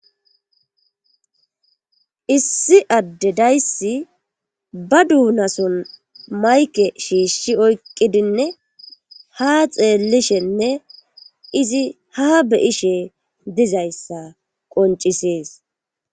Issi addedayssi ba duunason mayke shiishshi oykqidinne ha xeellishenne izi ha beyishe dizayssa qoncisees.